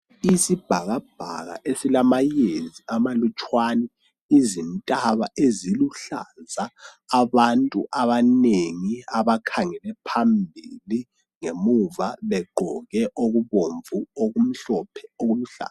Isibhakabhaka esilamayezi amalutshwane izintaba eziluhlaza abantu abanengi abakhangele phambili ngemuva begqoke okubomvu okumhlophe okuluhlaza